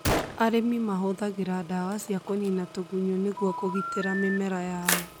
Arĩmi mahũthagĩra ndawa cia kũniina tũgunyũ nĩguo kũgitĩra mĩmera yao.